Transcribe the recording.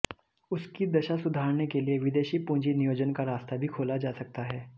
उसकी दशा सुधारने के लिए विदेशी पूंजी नियोजन का रास्ता भी खोला जा सकता है